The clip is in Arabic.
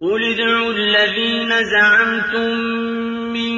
قُلِ ادْعُوا الَّذِينَ زَعَمْتُم مِّن